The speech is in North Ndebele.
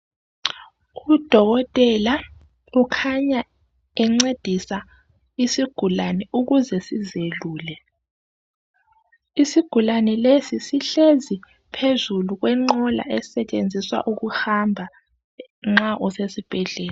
Udokotela ukhanya encedisa isigulani ukuze sizelule. Isigulani lesi sihlezi phezulu kwenqola esetshenziswa ukuhamba nxa usesibhedlela.